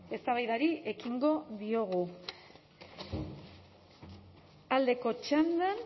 eztabaidari ekingo diogu aldeko txandan